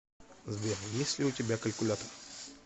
сбер есть ли у тебя калькулятор